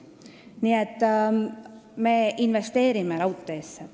Nii et me investeerime raudteesse.